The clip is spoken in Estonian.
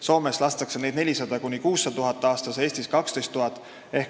Soomes lastakse neid aastas 400 000 – 600 000, Eestis 12 000.